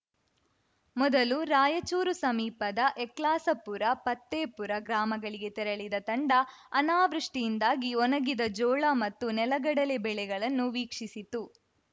ಮೊದಲು ರಾಯಚೂರು ಸಮೀಪದ ಯಕ್ಲಾಸಪುರ ಪತ್ತೆಪುರ ಗ್ರಾಮಗಳಿಗೆ ತೆರಳಿದ ತಂಡ ಅನಾವೃಷ್ಟಿಯಿಂದಾಗಿ ಒಣಗಿದ ಜೋಳ ಮತ್ತು ನೆಲಗಡಲೆ ಬೆಳೆಗಳನ್ನು ವೀಕ್ಷಿಸಿತು